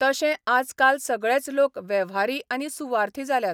तशे आजकाल सगळेच लोक वेव्हारी आनी सुवार्थी जाल्यात.